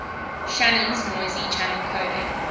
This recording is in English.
shannon's noisy channel coding